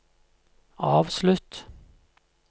avslutt